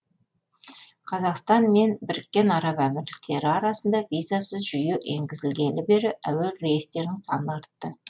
қазақстан мен біріккен араб әмірліктері арасында визасыз жүйе енгізілгелі бері әуе рейстерінің саны артты